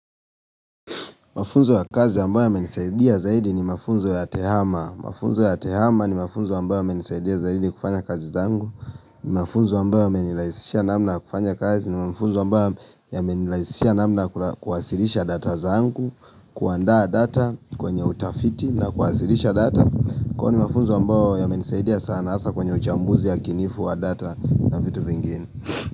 Mafunzo ya kazi ambayo yamenisaidia zaidi ni mafunzo ya tehama. Mafunzo ya tehama ni mafunzo ambayo yamenisaidia zaidi kufanya kazi zangu. Ni mafunzo ambayo yamenirahisishia naamna kufanya kazi. Ni mafunzo ambayo yamenirahisishia namna ya kuwasilisha data zangu kuandaa data kwenye utafiti na kuwasilisha data Kwani mafunzo ambayo yamenisaidia sana hasa kwenye uchambuzi wakinifu wa data na vitu vingine.